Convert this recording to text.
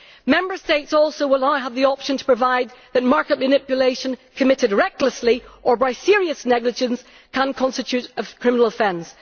Member States will also now have the option to provide that market manipulation committed recklessly or by serious negligence can constitute a criminal offence.